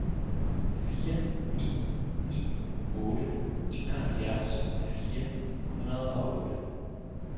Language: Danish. fire ni ni otte enoghalvfjerds fire hundrede og otte